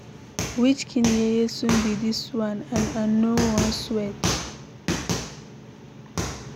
Which kin yeye sun be dis one? And I no wan sweat.